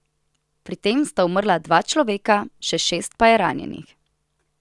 Pri tem sta umrla dva človeka, še šest pa je ranjenih.